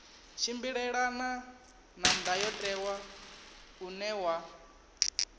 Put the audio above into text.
tshimbilelane na ndayotewa une wa